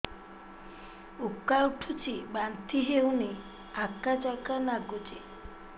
ଉକା ଉଠୁଚି ବାନ୍ତି ହଉନି ଆକାଚାକା ନାଗୁଚି